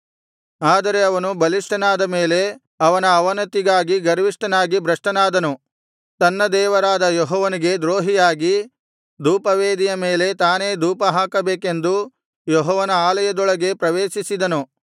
ಆದರೆ ಅವನು ಬಲಿಷ್ಠನಾದ ಮೇಲೆ ಅವನ ಅವನತಿಗಾಗಿ ಗರ್ವಿಷ್ಠನಾಗಿ ಭ್ರಷ್ಟನಾದನು ತನ್ನ ದೇವರಾದ ಯೆಹೋವನಿಗೆ ದ್ರೋಹಿಯಾಗಿ ಧೂಪವೇದಿಯ ಮೇಲೆ ತಾನೇ ಧೂಪ ಹಾಕಬೇಕೆಂದು ಯೆಹೋವನ ಆಲಯದೊಳಗೆ ಪ್ರವೇಶಿಸಿದನು